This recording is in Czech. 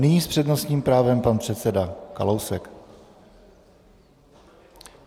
Nyní s přednostním právem pan předseda Kalousek.